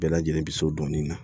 Bɛɛ lajɛlen bɛ so dɔɔnin na